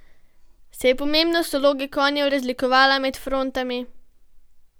Se je pomembnost vloge konjev razlikovala med frontami?